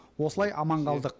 осылай аман қалдық